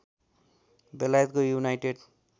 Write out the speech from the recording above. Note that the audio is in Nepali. बेलायतको युनाइटेड